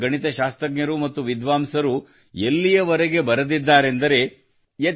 ಭಾರತದ ಗಣಿತಶಾಸ್ತ್ರಜ್ಞರು ಮತ್ತು ವಿದ್ವಾಂಸರು ಎಲ್ಲಿಯವರೆಗೆ ಬರೆದಿದ್ದಾರೆಂದರೆ